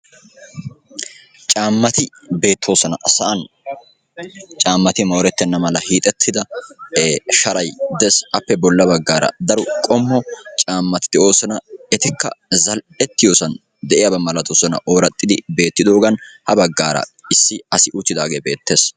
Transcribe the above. Caamati betosona sa'an. Caamati morettena mala hixxetida sharay de'ees. Appe bolla baggara daro qommo caamati de'osona. Etika zal'etiyosan de'iyaba milatosona oraxxidi betidogan. Ha baggan issi asi uttidage betees.